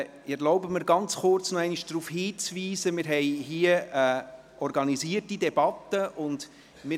Ich erlaube mir ganz kurz den Hinweis, dass wir hier eine organisierte Debatte durchführen.